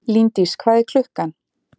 Líndís, hvað er klukkan?